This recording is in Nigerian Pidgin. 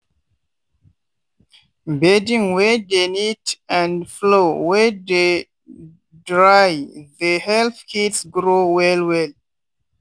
bedding wey dey neat and floor wey dey drythe help kids grow well well.